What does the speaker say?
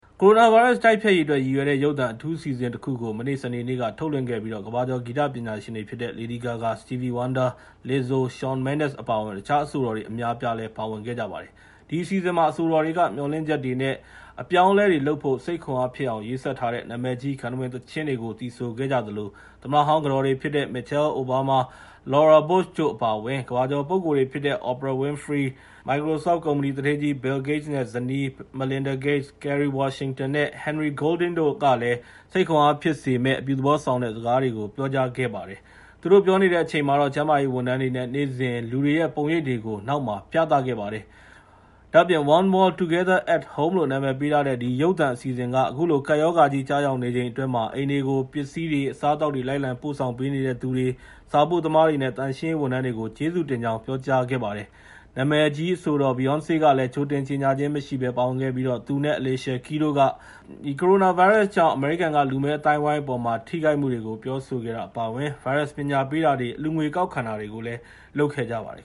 ကိုရိုနာဗိုင်းရပ်စ် တိုက်ဖျက်ရေးအတွက် ရည်ရွယ်တဲ့ ရုပ်သံအထူးအစီအစဉ်တခုကို မနေ့ စနေနေ့က ထုတ်လွှင့်ခဲ့ပြီး ကမ္ဘာကျော် ဂီတပညာရှင်တွေဖြစ်တဲ့ Lady Gaga, Stevie Wonder, Lizzo, Shawn Mendez အပါအဝင် တခြား အဆိုတော်တွေ အများအပြား ပါဝင်ခဲ့ကြပါတယ်။ ဒီအစီအစဉ်မှာ အဆိုတော်တွေက မျှော်လင့်ချက်တွေနဲ့ အပြောင်းအလဲတွေလုပ်ဖို့ စိတ်ခွန်အားဖြစ်အောင် ရေးစပ်ထားတဲ့ နာမည်ကြီး ဂန္ထဝင်သီချင်းတွေ သီဆိုခဲ့ကြသလို သမ္မတဟောင်း ကတော်တွေဖြစ်ကြတဲ့ Michelle Obama, Laura Bush တို့ အပါအဝင် ကမ္ဘာကျော်ပုဂ္ဂိုလ်တွေဖြစ်တဲ့ Oprah Winfrey၊ ကမ္ဘာကျော် မိုက်ကရိုဆော့ဖ်ကုမ္ပဏီ သူဌေးကြီး Bill Gates နဲ့ ဇနီး Melinda Gates, Kerry Washington နဲ့ Henry Golding တို့ကလည်း စိတ်ခွန်အားဖြစ်စေမယ့် အပြုသဘောဆောင်တဲ့ စကားတွေကို ပြောခဲ့ကြပါတယ်။ သူတို့ ပြောနေတဲ့အချိန်မှာတော့ ကျန်းမာရေးဝန်ထမ်းတွေနဲ့ နေ့စဉ် လူတွေရဲ့ ပုံရိပ်တွေကို ပြသခဲ့ပါတယ်။ ဒါ့အပြင် One World: Together at Home လို့ နာမည်ပေးထားတဲ့ ဒီရုပ်သံအစီအစဉ်က အခုလို ကပ်ရောဂါကြီး ကျရောက်နေချိန်အတွင်း အိမ်တွေကို ပစ္စည်းတွေ၊ အစားအသောက်တွေ လိုက်လံပို့ဆောင်ပေးနေတဲ့သူတွေ၊ စာပို့သမားတွေနဲ့ သန့်ရှင်းရေးဝန်ထမ်းတွေကို ကျေးဇူးတင်ကြောင်း ပြောကြားခဲ့ပါတယ်။ နာမည်ကျော်အဆိုတော် Beyonce လည်း ကြိုတင်ကြေငြာခြင်းမရှိဘဲ ပါဝင်ခဲ့ပြီး သူနဲ့ Alicia Keys တို့က ဗိုင်းရပ်စ်ကြောင့် အမေရိကန်မှာရှိတဲ့ လူမည်းအသိုင်းအဝိုင်းအပေါ် ထိခိုက်မှုတွေကို ပြောဆိုခဲ့တာ အပါအဝင် ဗိုင်းရပ်စ်ပညာပေးတာတွေနဲ့ ဗိုင်းရပ်စ်အန္တရာယ် ကူညီရေးအတွက် အလှူငွေ ကောက်ခံတာတွေလည်း လုပ်ခဲ့ကြပါတယ်